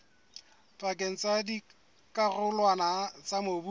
pakeng tsa dikarolwana tsa mobu